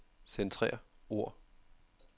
Centrer ord.